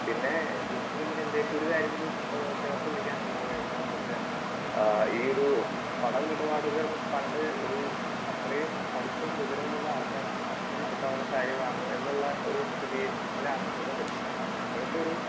Speaker 2 പിന്നെ എനിക്ക് പിന്നെ ഒരു കാര്യം കൂടി ആഹ് ചേർത്തു പിടിക്കാൻ ഉള്ളത് എന്താന്ന് വെച്ചാൽ ആഹ് ഈയൊരു പണമിടപാടുകൾ പണ്ട് ഒരു ഇത്രയും പഠിപ്പും വിവരവും ഉള്ള ആൾക്കാർക്ക് മാത്രം നടക്കാവുന്ന കാര്യമാണ് എന്നുള്ള ഒരു സ്ഥിതിയിലാണ് നിന്നോണ്ടിരുന്നത്. എന്നാൽ ഇപ്പോഴത്തെ ഒരു